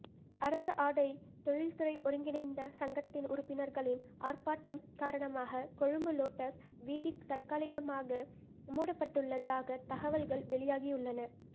அரச ஆடைத் தொழில்துறை ஒருங்கிணைந்த சங்கத்தின் உறுப்பினர்களின் ஆர்ப்பாட்டம் காரணமாக கொழும்பு லோட்டஸ் வீதி தற்காலிகமாக மூடப்பட்டுள்ளதாக தகவல்கள் வெளியாகியுள்ளன